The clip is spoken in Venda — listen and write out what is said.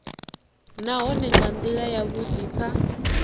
nahone nga ndila yavhudi kha